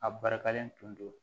A barikalen tun don